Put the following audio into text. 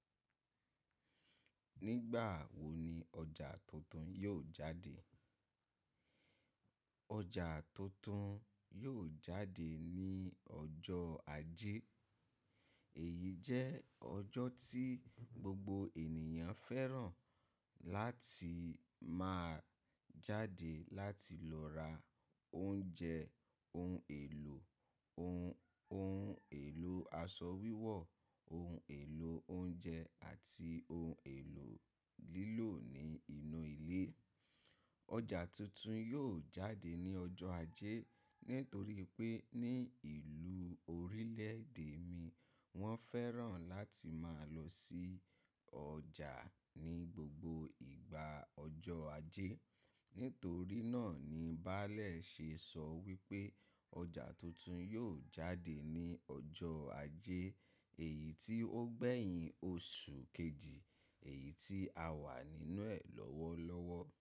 Nígbà wo ni ọjà tuntun yóò jáde? Ọjà tuntun yóò jáde ní ọjọ́ ajé. Èyí jẹ́ ọjọ́ tí gbogbo ènìyàn fẹ́ràn láti máa jáde láti lọ ra oúnjẹ, ohun èlò, ohun, ohun èlo aṣọ wíwọ̀, ohun èlo oúnjẹ àti ohun èlò lílò ní inú ilé. Ọjà tuntun yóò jáde ní ọjọ́ ajé nítorí pé ní ìlú orílẹ̀ èdè mi wọ́n fẹ́ràn láti máa lọ sí ọjà ní gbogbo igba ọjọ́ ajé. Nítorí náà ni Baálẹ̀ ṣe sọ wípé ọjà tuntun yóò jáde ní ọjọ́ ajé èyí tí ó gbẹ̀yìn oṣù kejì èyí tí a wà nínú ẹ̀ lọ́wọ́lọ́wọ́.